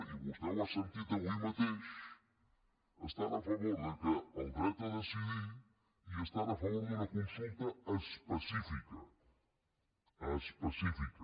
i vostè ho ha sentit avui mateix estan a favor del dret a decidir i estan a favor d’una consulta específica específica